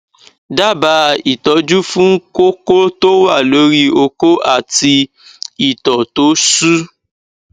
daba itoju fun koko to wa lori oko ati ito to su